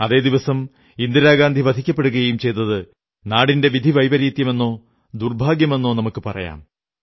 അതേ ദിവസം ഇന്ദിരാഗാന്ധി വധിക്കപ്പെടുകയും ചെയ്തത് നാടിന്റെ വിധിവൈപരീത്യമെന്നോ ദുർഭാഗ്യമെന്നോ നമുക്കു പറയാം